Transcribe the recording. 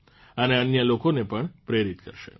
અને અન્ય લોકોને પણ પ્રેરિત કરશે